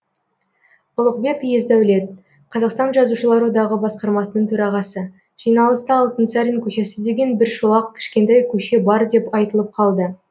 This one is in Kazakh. ұлықбек есдәулет қазақстан жазушылар одағы басқармасының төрағасы жиналыста алтынсарин көшесі деген бір шолақ кішкентай көше бар деп айтылып қалды